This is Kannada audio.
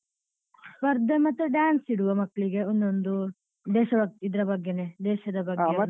ಸ್ಪರ್ಧೆ ಮತ್ತೆ dance ಇಡ್ವ ಮಕ್ಳಿಗೆ ಒಂದೊಂದು ದೇಶಭಕ್ತಿ ಇದ್ರ ಬಗ್ಗೆನೇ ದೇಶದ ಬಗ್ಗೆನೇ.